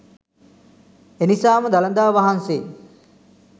එනිසාම දළදා වහන්සේ